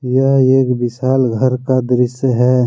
यह एक विशाल घर का दृश्य है।